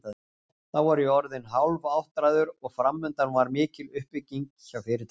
Þá var ég orðinn hálfáttræður og framundan var mikil uppbygging hjá fyrirtækinu.